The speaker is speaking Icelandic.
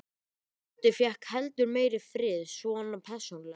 Dundi fékk heldur meiri frið, svona persónulega.